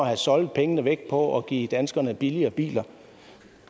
har soldet pengene væk på at give danskerne billigere biler